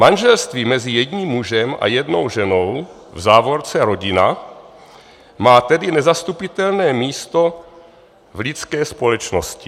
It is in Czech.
Manželství mezi jedním mužem a jednou ženou, v závorce rodina, má tedy nezastupitelné místo v lidské společnosti.